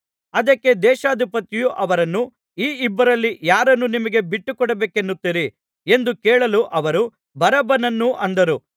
ಅದಕ್ಕೆ ದೇಶಾಧಿಪತಿಯು ಅವರನ್ನು ಈ ಇಬ್ಬರಲ್ಲಿ ಯಾರನ್ನು ನಿಮಗೆ ಬಿಟ್ಟುಕೊಡಬೇಕನ್ನುತ್ತೀರಿ ಎಂದು ಕೇಳಲು ಅವರು ಬರಬ್ಬನನ್ನು ಅಂದರು